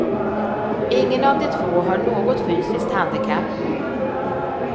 Ingen av de två har något fysiskt handikapp.